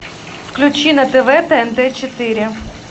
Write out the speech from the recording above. включи на тв тнт четыре